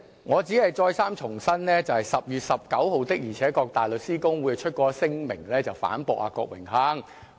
我只是重申，大律師公會的確在10月19日發出聲明，反駁郭榮鏗議員。